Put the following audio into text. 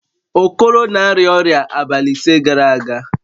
Okoro na-arịa ọrịa abalị ise gara aga